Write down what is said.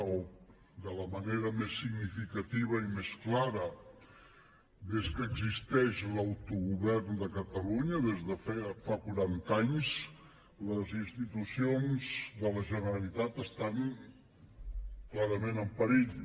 o de la manera més significativa i més clara des que existeix l’autogovern de catalunya des de fa quaranta anys les institucions de la generalitat estan clarament en perill